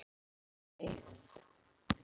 Hún bara beið